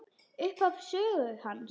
Upphaf sögu hans.